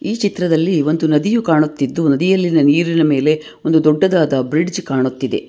ಈ ಚಿತ್ರದಲ್ಲಿ ಒಂದು ನದಿಯು ಕಾಣುತ್ತಿದ್ದು ನದಿಯಲ್ಲಿನ ನೀರಿನ ಮೇಲೆ ಒಂದು ದೊಡ್ಡದಾದ ಬ್ರಿಡ್ಜ್ ಕಾಣುತ್ತಿದೆ.